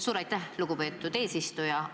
Suur aitäh, lugupeetud eesistuja!